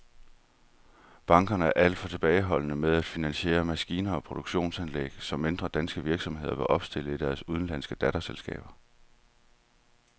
Bankerne er alt for tilbageholdende med at finansiere maskiner og produktionsanlæg, som mindre danske virksomheder vil opstille i deres udenlandske datterselskaber.